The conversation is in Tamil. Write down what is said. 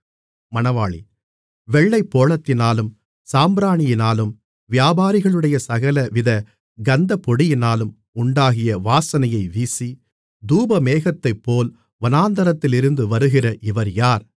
வெள்ளைப்போளத்தினாலும் சாம்பிராணியினாலும் வியாபாரிகளுடைய சகலவித கந்தப்பொடியினாலும் உண்டாகிய வாசனையை வீசி தூபமேகத்தைப்போல் வனாந்திரத்திலிருந்து வருகிற இவர் யார்